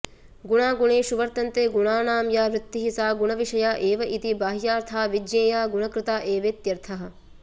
गुणा गुणेषु वर्त्तन्ते गुणानां या वृत्तिः सा गुणविषया एवेति बाह्यार्था विज्ञेया गुणकृता एवेत्यर्थः